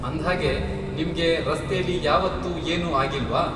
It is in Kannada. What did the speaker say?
ಅಂದ್ಹಾಗೆ, ನಿಮ್ಗೆ ರಸ್ತೆಲಿ ಯಾವತ್ತೂ ಏನೂ ಆಗಿಲ್ವಾ?